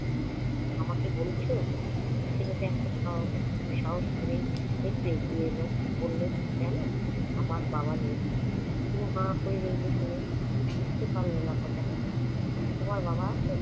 আমাকে বলছ? ছেলেটা একটা সাহ~ সাহস করে একটু এগিয়ে এলো। বলল, জান আমার বাবা নেই। হু হা করে রইল শুনে, ঠিক বুঝতে পারল না কথাটা। তোমার বাবা আছেন?